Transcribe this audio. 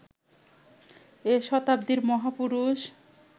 এ শতাব্দীর মহাপুরুষ